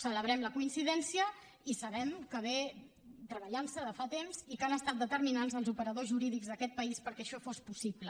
celebrem la coincidència i sabem que s’ha treballat de fa temps i que han estat determinants els operadors jurídics d’aquest país perquè això fos possible